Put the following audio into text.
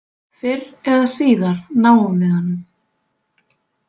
Fyrr eða síðar náum við honum.